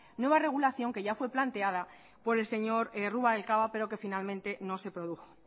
nueva regulación que ya fue planteada por el señor rubalcaba pero que finalmente no se produjo